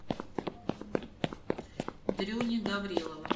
дрюни гаврилова